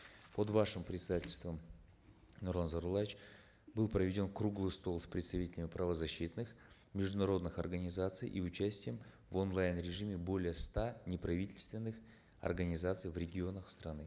под вашим председательством нурлан зайроллаевич был проведен круглый стол с представителями правозащитных международных организаций и участием в онлайн режиме более ста неправительственных организаций в регионах страны